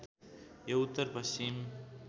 यो उत्तर पश्चिम